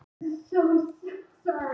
Pála